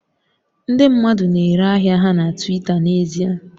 Ndị mmadụ na-ere ahịa ha na Twita n'ezie